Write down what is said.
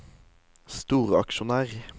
storaksjonær